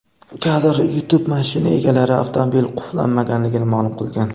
Kadr: YouTube Mashina egalari avtomobil qulflanmaganligini ma’lum qilgan.